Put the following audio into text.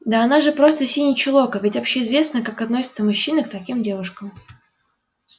да она же просто синий чулок а ведь общеизвестно как относятся мужчины к таким девушкам